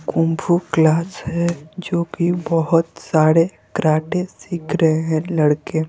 kung fu class है जो कि बहुत सारे क्राटे सीख रहे हैं लड़के--